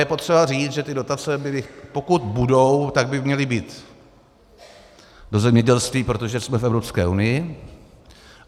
Je potřeba říct, že ty dotace byly - pokud budou, tak by měly být do zemědělství, protože jsme v Evropské unii.